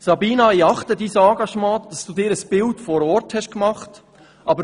Sabina, ich achte dein Engagement und dass du dir ein Bild vor Ort gemacht hast.